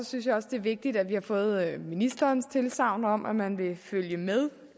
synes jeg også det er vigtigt at vi har fået ministerens tilsagn om at man vil følge med